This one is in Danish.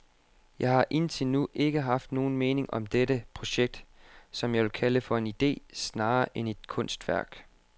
Jeg har indtil nu ikke haft nogen mening om dette projekt, som jeg vil kalde for en idé snarere end et kunstværk.